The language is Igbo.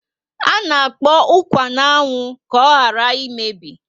Ana akpọ ukwa na anwụ ka oghara emebi